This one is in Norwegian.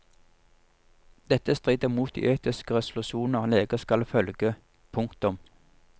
Dette strider mot de etiske resolusjonene leger skal følge. punktum